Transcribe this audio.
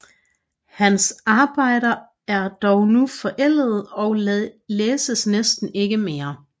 Hans arbejder er dog nu forældede og læses næsten ikke mere